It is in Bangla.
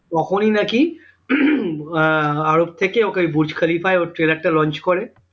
তখনি নাকি আহ আরব থেকে ওকে ওই বুর্জ খলিফায় ওর trailer টা launch করে